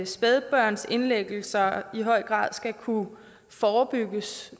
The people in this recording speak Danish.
spædbørnsindlæggelser skal kunne forebygges